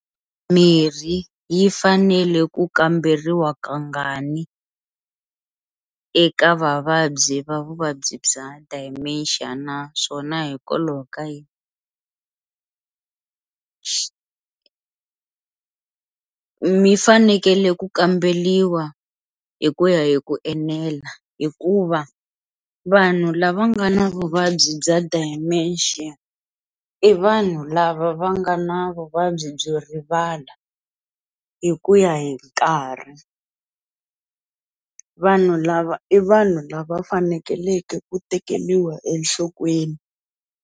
Mirhi yi fanele ku kamberiwa kangani eka vavabyi va vuvabyi bya dementia naswona hikwalaho ka yini, mi fanekele ku kambeliwa hi ku ya hi ku enela hikuva vanhu lava nga na vuvabyi bya dementia i vanhu lava va nga na vuvabyi byo rivala hi ku ya hi nkarhi, vanhu lava i vanhu lava fanekeleke ku tekeliwa enhlokweni.